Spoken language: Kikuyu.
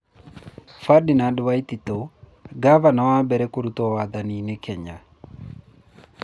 Ferdinand Waititu: Gavana wa mbere kũrutwo wathani-inĩ Kenya